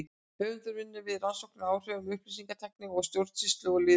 Höfundur vinnur við rannsóknir á áhrifum upplýsingatækni á stjórnsýslu og lýðræði.